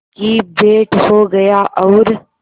की भेंट हो गया और